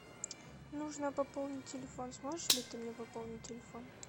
нужно пополнить телефон сможешь ли ты мне пополнить телефон